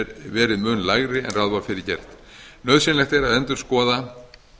verið mun lægri en ráð var fyrir gert nauðsynlegt er að endurskoða